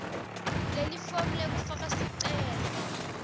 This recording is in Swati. lelifomu lekufaka sicelo